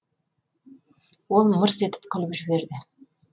ол мырс етіп күліп жіберді